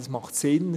Das macht Sinn.